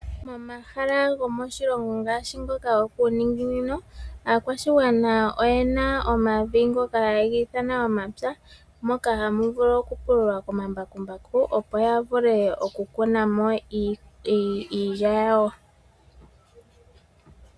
Momahala go moshilongo ngaashi ngoka gokuuningi ni no aakwashigwana oyena omavi ngoka haye giithana omapya moka hamu vulu oku pululwa komambakumbaku opo yavule oku kuna mo iilya yawo.